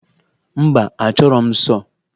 Mba, achọburu m sọọ